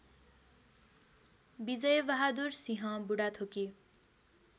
Bijay Bahadur Singh Budhathoki